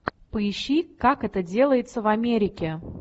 поищи как это делается в америке